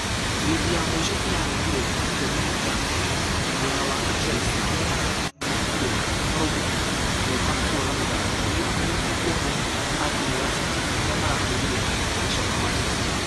Firimbĩ ya mũisho ĩrarehire gũkenerera ...mwena wa ......a chelsea arĩa marũmbũkire goka kuona mũthako. Rĩrĩa anyiti guoka a timũ ya city arĩa marahũrirwo magĩcoka manchester.